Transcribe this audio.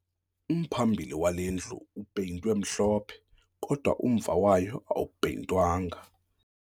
Umphambili wale ndlu upeyintwe mhlophe kodwa umva wayo awupeyintwanga